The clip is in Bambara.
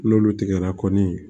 N'olu tigɛra kɔni